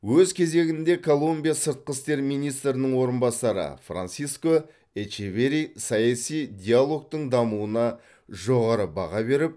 өз кезегінде колумбия сыртқы істер министрінің орынбасары франсиско эчеверри саяси диалогтың дамуына жоғары баға беріп